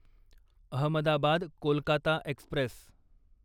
Ahmedabad Kolkata Express